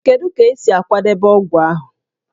Kedu ka esi akwadebe ọgwụ ahụ?